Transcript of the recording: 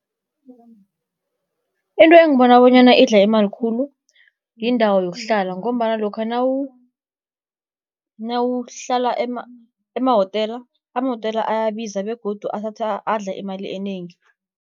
Into engibona bonyana idla imali khulu yindawo yokuhlala, ngombana lokha nawuhlala emahotela, amahotela ayabiza begodu adla imali enengi.